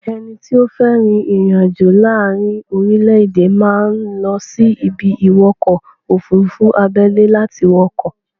Ẹni tó fé ri ìrìn àjò láàárí orílẹ̀-èdè máa ń lọ sí ibi-ìwọkọ̀-òfurufú abẹ́lẹ́ láti wọ ọkọ̀.